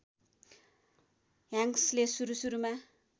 ह्याङ्क्सले सुरु सुरुमा